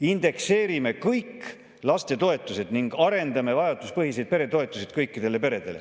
"Indekseerime kõik lastetoetused ning arendame vajaduspõhiseid peretoetuseid kõikidele peredele.